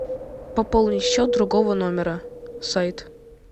пополни счет другого номера сайт